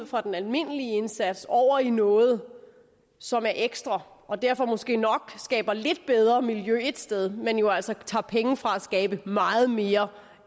fra den almindelige indsats over i noget som er ekstra og derfor måske nok skaber lidt bedre miljø et sted men jo altså tager penge fra at skabe meget mere